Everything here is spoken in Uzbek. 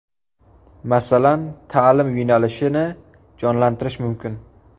Masalan, ta’lim yo‘nalishini jonlantirish mumkin.